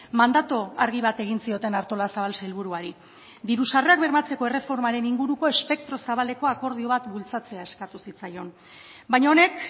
mandatu argi bat egin zioten artolazabal sailburuari diru sarrerak bermatzeko erreformaren inguruko espektro zabalekoa akordio bat bultzatzea eskatu zitzaion baina honek